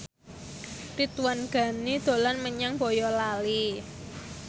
Ridwan Ghani dolan menyang Boyolali